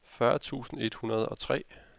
fyrre tusind et hundrede og tre